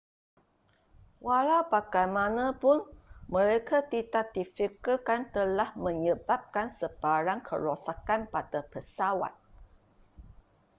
walau bagaimanapun mereka tidak difikirkan telah menyebabkan sebarang kerosakan pada pesawat